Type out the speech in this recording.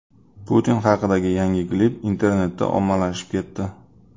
Putin haqidagi yangi klip internetda ommalashib ketdi .